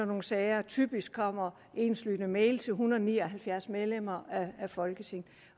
nogle sager typisk kommer enslydende mails til hundrede og ni og halvfjerds medlemmer af folketinget